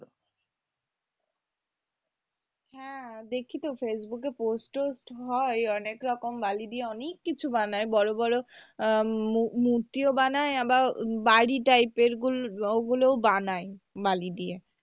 হ্যাঁ দেখি তো facebook এ post tost হয় অনেক রকম বালি দিয়ে অনেক কিছু বানায় বড় বড় আহ মুমুর্তিও বানায় আবার বাড়ি type এর ওগুলোও বানায় বালি দিয়ে।